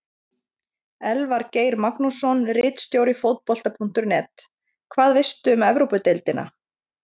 Elvar Geir Magnússon, ritstjóri Fótbolta.net: Hvað veistu um Evrópudeildina?